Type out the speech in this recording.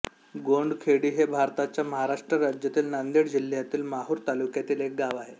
गोंडखेडी हे भारताच्या महाराष्ट्र राज्यातील नांदेड जिल्ह्यातील माहूर तालुक्यातील एक गाव आहे